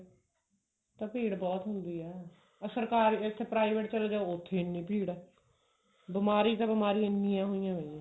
ਹੁਣ ਤਾਂ ਭੀੜ ਬਹੁਤ ਹੁੰਦੀ ਹੈ ਅਹ ਸਰਕਾਰ ਅਹ ਇੱਥੇ private ਚਲੇ ਜਾਓ ਉੱਥੇ ਇਹਨੀਂ ਭੀੜ ਹੈ ਬਿਮਾਰੀ ਤੇ ਬਿਮਾਰੀਆਂ ਇਹਨੀਂ ਹੋਈਆਂ ਪਾਈਆਂ ਨੇ